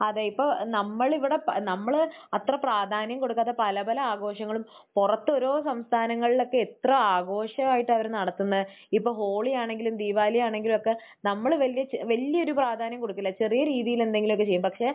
അതെ. ഇപ്പോൾ നമ്മൾ ഇവിടെ പ...നമ്മൾ അത്ര പ്രാധാന്യം കൊടുക്കാത്ത പല പല ആഘോഷങ്ങളും പുറത്ത് ഓരോ സംസ്ഥാനങ്ങളിലൊക്കെ എത്ര ആഘോഷമായിട്ടാണ് അവർ നടത്തുന്നത്. ഇപ്പോൾ ഹോളിയാണെങ്കിലും ദീപാവലിയാണെങ്കിലുമൊക്കെ നമ്മൾ വലിയ ച...വലിയൊരു പ്രാധാന്യം കൊടുക്കില്ല. ചെറിയ രീതിയിൽ എന്തെങ്കിലും ഒക്കെ ചെയ്യും. പക്ഷെ